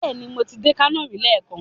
Bẹẹni, mo ti dé Kano rí leekan